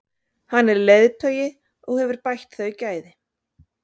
Hann er leiðtogi og hefur bætt þau gæði.